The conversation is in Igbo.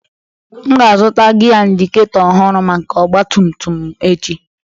M ga-azụta gia indiketor ọhụrụ maka ọgba tum tum m echi.